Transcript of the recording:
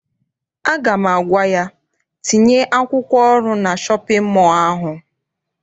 Aga m agwa ya, tinye akwụkwọ ọrụ na shọpịn mọọ ahụ!